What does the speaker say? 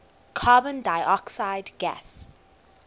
carbon dioxide gas